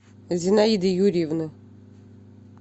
зинаиды юрьевны